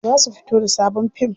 Za su fito da sabon fim.